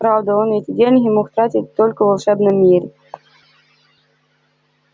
правда он эти деньги мог тратить только в волшебном мире